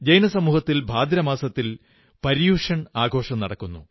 ജൈന സമൂഹത്തിൽ ഭാദ്രമാസത്തിൽ പര്യുഷൺ ആഘോഷം നടക്കുന്നു